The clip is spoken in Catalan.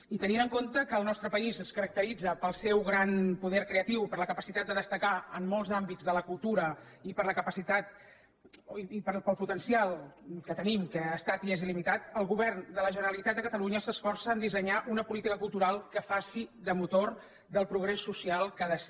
i tenint en compte que el nostre país es caracteritza pel seu gran poder creatiu per la capacitat de destacar en molts àmbits de la cultura i pel potencial que tenim que ha estat i és il·limitat el govern de la generalitat de catalunya s’esforça a dissenyar una política cultural que faci de motor del progrés social que ha de ser